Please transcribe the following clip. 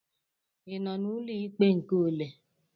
Ị nọ n'ụlọ ikpe nke ole?